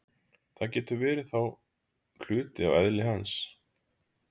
Það getur þá verið hluti af eðli hans.